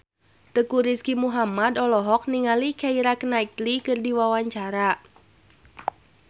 Teuku Rizky Muhammad olohok ningali Keira Knightley keur diwawancara